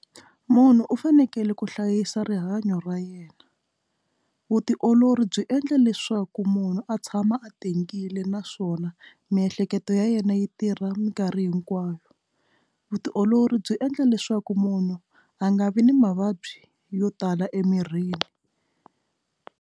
Munhu u fanekele ku hlayisa rihanyo ra yena vutiolori byi endla leswaku munhu a tshama a tengile naswona miehleketo ya yena yi tirha minkarhi hinkwayo vutiolori byi endla leswaku munhu a nga vi ni mavabyi yo tala emirhini.